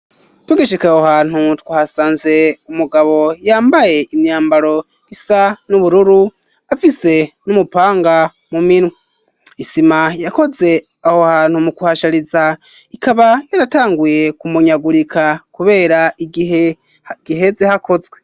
Tugishika aho hantu twahasanze umugabo yambaye imyambaro isa n'ubururu afise n'umupanga mu minwe isima yakoze aho hantu mu kuhashariza ikaba yaratanguye kumunyagurika kubera igihe giheze hakozwe.